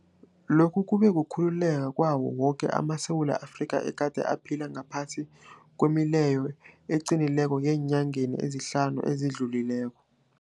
Lokhu kube kukhululeka kwawo woke amaSewula Afrika egade aphila ngaphasi kwemileyo eqinileko eenyangeni ezihlanu ezidlulileko.